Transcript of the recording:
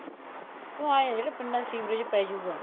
ਕਿਉਂ ਏ ਹੈ ਜਿਹੜਾ ਪਿੰਡਾਂ ਚ ਸੀਵਰੇਜ ਪੈ ਜਉਗਾ